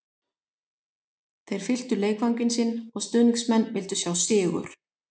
Þeir fylltu leikvanginn sinn og stuðningsmenn vildu sjá sigur